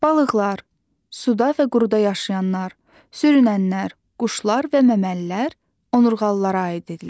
Balıqlar, suda və quruda yaşayanlar, sürünənlər, quşlar və məməlilər onurğalılara aid edilir.